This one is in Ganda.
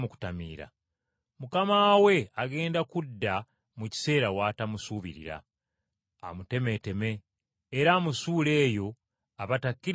mukama we agenda kudda mu kiseera ky’atamusuubira, amubonereze, era amusuule eyo abatakkiriza gye bali.